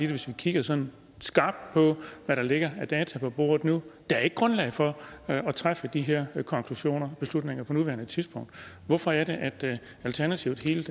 hvis vi kigger sådan skarpt på hvad der ligger af data på bordet nu der er ikke grundlag for at træffe de her konklusioner beslutninger på nuværende tidspunkt hvorfor er det at alternativet helt